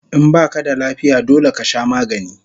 In baka da lafiya dole kasha magani